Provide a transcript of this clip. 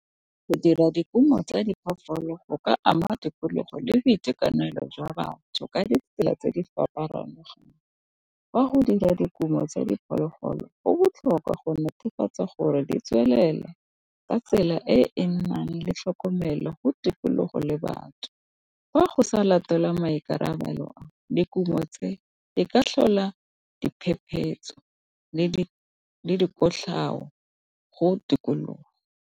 Go dira dikumo tsa diphoofolo go ka ama tikologo le boitekanelo jwa batho ka ditsela tse di . O a go dira dikumo tsa diphologolo go botlhokwa go netefatsa gore di tswelela ka tsela e e nang le tlhokomelo go tikologo le batho, fa go sa latela maikarabelo a le kumo tse di ka tlhola diphephetso le dikotlhao go tikologo.